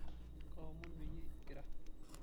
kaomon peyie ing'ira